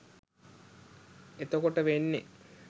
එතකොට වෙන්නෙ